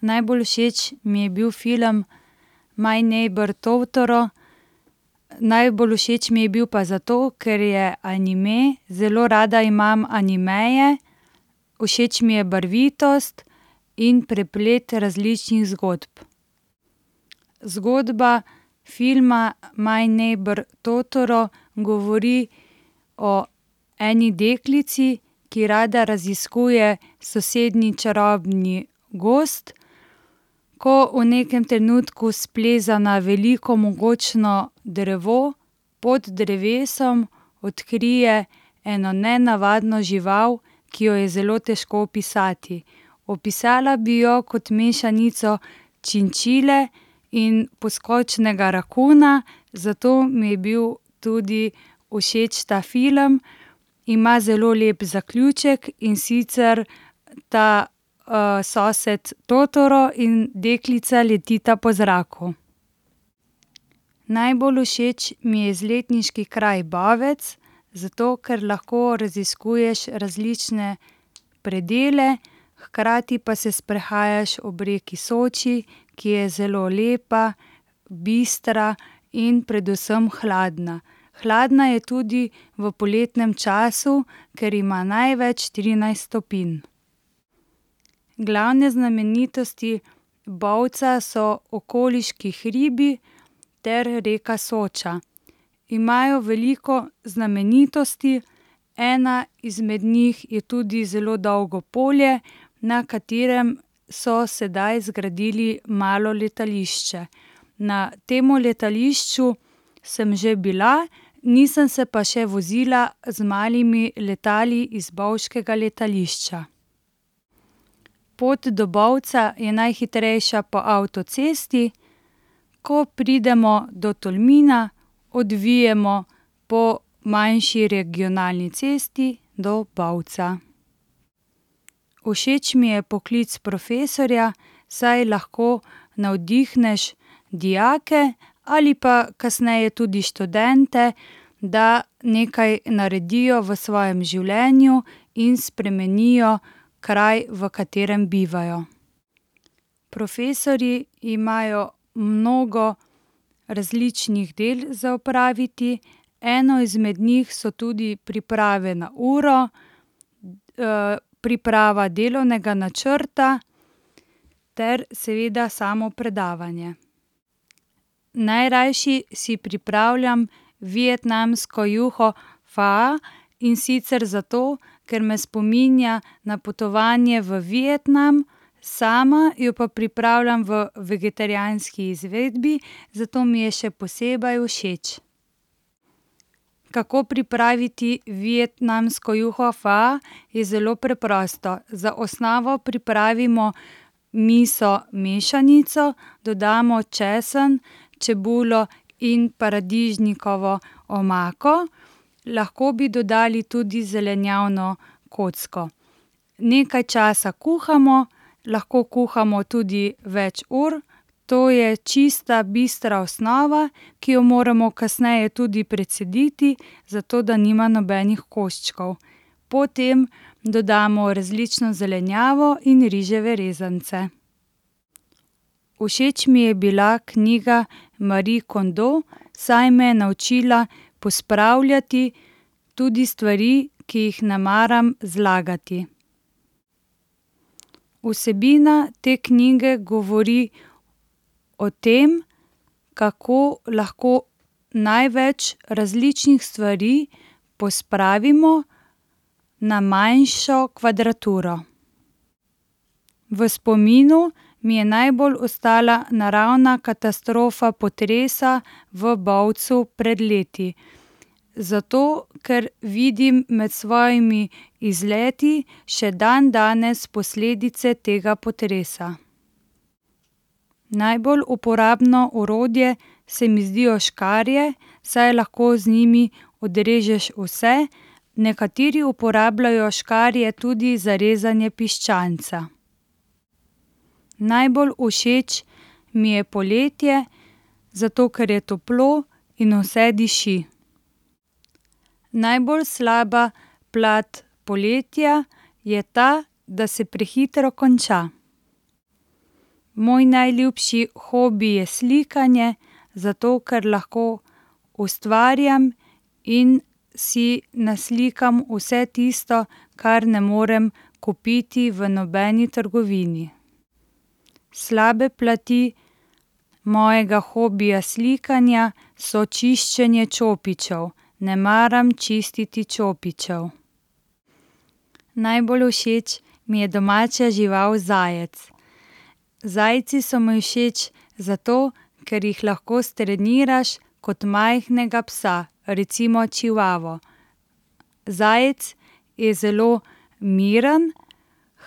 Najbolj všeč mi je bil film My neighbor Totoro. Najbolj všeč mi je bil pa zato, ker je anime. Zelo rada imam animeje, všeč mi je barvitost in preplet različnih zgodb. Zgodba filma My neighbor Totoro govori o eni deklici, ki rada raziskuje sosednji čarobni gozd. Ko v nekem trenutku spleza na veliko mogočno drevo, pod drevesom odkrije eno nenavadno žival, ki jo je zelo težko opisati. Opisala bi jo kot mešanico činčile in poskočnega rakuna, zato mi je bil tudi všeč ta film. Ima zelo lep zaključek, in sicer ta, sosed Totoro in deklica letita po zraku. Najbolj všeč mi je izletniški kraj Bovec, zato ker lahko raziskuješ različne predele, hkrati pa se sprehajaš ob reki Soči, ki je zelo lepa, bistra in predvsem hladna. Hladna je tudi v poletnem času, ker ima največ trinajst stopinj. Glavne znamenitosti Bovca so okoliški hribi ter reka Soča. Imajo veliko znamenitosti, ena izmed njih je tudi zelo dolgo polje, na katerem so sedaj zgradili malo letališče. Na tem letališču sem že bila, nisem se pa še vozila z malimi letali iz bovškega letališča. Pot do Bovca je najhitrejša po avtocesti. Ko pridemo do Tolmina, odvijemo po manjši regionalni cesti do Bovca. Všeč mi je poklic profesorja, saj lahko navdihneš dijake ali pa kasneje tudi študente, da nekaj naredijo v svojem življenju in spremenijo kraj, v katerem bivajo. Profesorji imajo mnogo različnih del za opraviti. Eno izmed njih so tudi priprave na uro, priprava delovnega načrta ter seveda samo predavanje. Najrajši si pripravljam vietnamsko juho pho, in sicer zato, ker me spominja na potovanje v Vietnam. Sama jo pa pripravljam v vegetarijanski izvedbi, zato mi je še posebej všeč. Kako pripraviti vietnamsko juho pho? Je zelo preprosto. Za osnovo pripravimo miso mešanico, dodamo česen, čebulo in paradižnikovo omako. Lahko bi dodali tudi zelenjavno kocko. Nekaj časa kuhamo, lahko kuhamo tudi več ur. To je čista, bistra osnova, ki jo moramo kasneje tudi precediti, zato da nima nobenih koščkov. Po tem dodamo različno zelenjavo in riževe rezance. Všeč mi je bila knjiga Marie Kondo, saj me je naučila pospravljati tudi stvari, ki jih ne maram zlagati. Vsebina te knjige govori o tem, kako lahko največ različnih stvari pospravimo na manjšo kvadraturo. V spominu mi je najbolj ostala naravna katastrofa potresa v Bovcu pred leti. Zato, ker vidim med svojimi izleti še dandanes posledice tega potresa. Najbolj uporabno orodje se mi zdijo škarje, saj lahko z njimi odrežeš vse. Nekateri uporabljajo škarje tudi za rezanje piščanca. Najbolj všeč mi je poletje, zato ker je toplo in vse diši. Najbolj slaba plat poletja je ta, da se prehitro konča. Moj najljubši hobi je slikanje, zato ker lahko ustvarjam in si naslikam vse tisto, kar ne morem kupiti v nobeni trgovini. Slabe plati mojega hobija slikanja so čiščenje čopičev. Ne maram čistiti čopičev. Najbolj všeč mi je domača žival zajec. Zajci so mi všeč zato, ker jih lahko streniraš kot majhnega psa, recimo čivavo. Zajec je zelo miren,